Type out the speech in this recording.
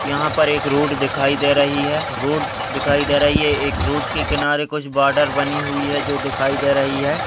यहाँ पर एक रोड दिखाई दे रही है रोड दिखाई दे रही है एक रोड के किनारे कुछ बॉर्डर बनी हुई है जो दिखाई दे रही है।